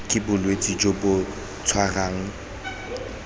ke bolwetse jo bo tshwarang